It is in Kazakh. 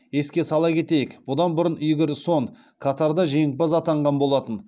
еске сала кетейік бұдан бұрын игорь сон катарда жеңімпаз атанған болатын